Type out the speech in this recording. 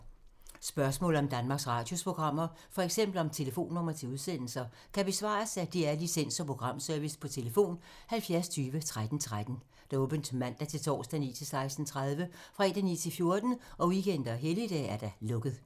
Spørgsmål om Danmarks Radios programmer, f.eks. om telefonnumre til udsendelser, kan besvares af DR Licens- og Programservice: tlf. 70 20 13 13, åbent mandag-torsdag 9.00-16.30, fredag 9.00-14.00, weekender og helligdage: lukket.